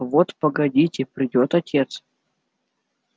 вот погодите придёт отец